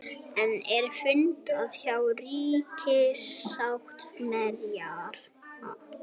Enn er fundað hjá ríkissáttasemjara